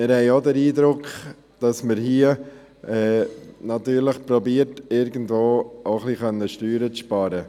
Wir haben auch den Eindruck, man versuche hier irgendwie ein wenig Steuern zu sparen.